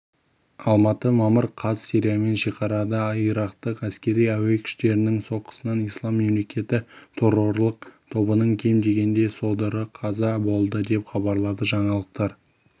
алматы мамыр қаз сириямен шекарада ирактық әскери-әуе күштерінің соққысынан ислам мемлекеті торрорлық тобының кем дегенде содыры қаза болды деп хабарлады жаңалықтар